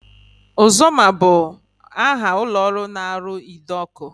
Ozoma bụ aha ụlọọrụ na-arụ ide ọkụ